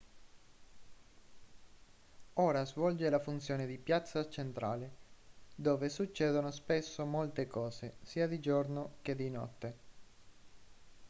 ora svolge la funzione di piazza centrale dove succedono spesso molte cose sia di giorno che di notte